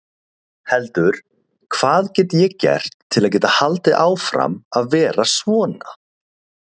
heldur: Hvað get ég gert til að geta haldið áfram að vera svona?